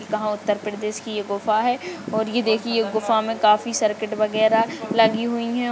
काहां उत्तर प्रदेश कि ये गुफा है और ये देखिए गुफा मे काफी सर्किट वगैरह लगी हुई है।